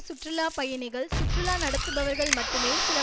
சுற்றுலா பயணிகள் சுற்றுலா நடத்துபவர்கள் மட்டுமே சில